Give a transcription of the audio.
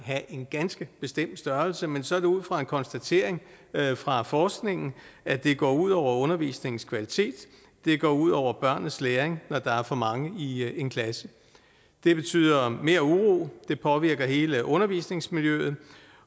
have en ganske bestemt størrelse men så er det ud fra en konstatering fra forskningen at det går ud over undervisningens kvalitet det går ud over børnenes læring når der er for mange i en klasse det betyder mere uro det påvirker hele undervisningsmiljøet